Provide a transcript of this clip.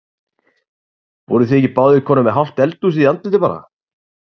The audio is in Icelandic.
Voruð þið ekki báðir komnir með hálft eldhúsið í andlitið bara?